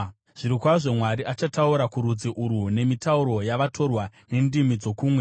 Zvirokwazvo, Mwari achataura kurudzi urwu nemitauro yavatorwa, nendimi dzokumwe,